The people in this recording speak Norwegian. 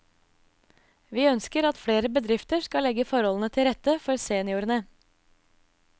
Vi ønsker at flere bedrifter skal legge forholdene til rette for seniorene.